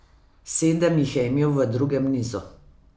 Sedem jih je imel v drugem nizu.